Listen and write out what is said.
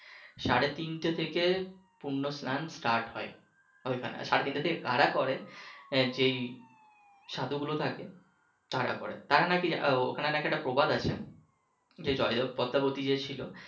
সাড়ে তিনটা থেকে পূর্ণ স্লান start হয়, সাড়ে তিনটা থেকে কারা করে যেই সাধু গুলো থাকে তারা করে তারা নাকি ওইখানে নাকি একটা প্রবাদ আছে, যেই জয়দেব পদ্মাবতি যে ছিলো